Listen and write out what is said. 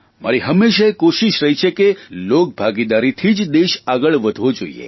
મારી હંમેશા એ કોષીશ રહી છે કે લોકભાગીદારીથી જ દેશ આગળ વધવો જોઇએ